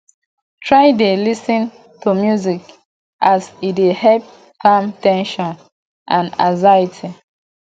try dey lis ten to music as e dey help calm ten sion and anxiety